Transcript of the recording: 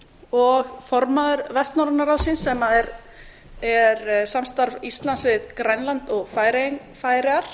og formaður vestnorræna ráðsins sem er samstarf íslands við grænland og færeyjar